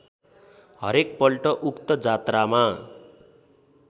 हरेकपल्ट उक्त जात्रामा